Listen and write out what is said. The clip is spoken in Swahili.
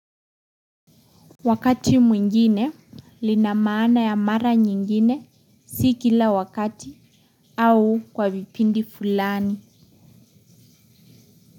Wakati mwingine lina maana ya mara nyingine si kila wakati au kwa vipindi fulani.